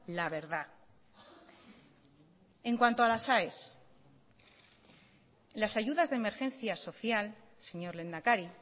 la verdad en cuanto a las aes las ayudas de emergencia social señor lehendakari